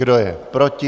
Kdo je proti?